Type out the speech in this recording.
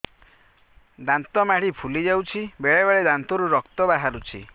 ଦାନ୍ତ ମାଢ଼ି ଫୁଲି ଯାଉଛି ବେଳେବେଳେ ଦାନ୍ତରୁ ରକ୍ତ ବାହାରୁଛି